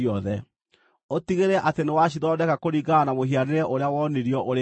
Ũtigĩrĩre atĩ nĩwacithondeka kũringana na mũhianĩre ũrĩa wonirio ũrĩ kĩrĩma-inĩ.